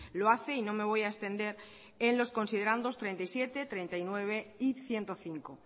lo hace y no me voy a extender en los considerandos treinta y siete treinta y nueve y ciento cinco